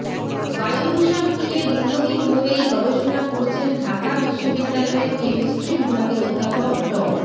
বায়ুদূষণ নিয়ে দীর্ঘদিন ধরেই গবেষণা করছেন ঢাকা বিশ্ববিদ্যালয়ের কেমিস্ট্রি বিভাগের অধ্যাপক ড